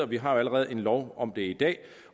vi har jo allerede en lov om det i dag